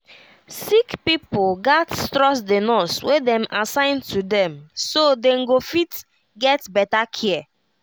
sick pipo gats trust the nurse wey dem assign to dem so dem go fit get better care